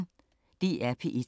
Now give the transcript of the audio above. DR P1